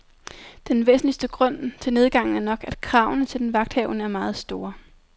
Den væsentligste grund til nedgangen er nok, at kravene til den vagthavende er meget store.